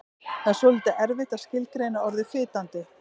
Það er svolítið erfitt að skilgreina orðið fitandi.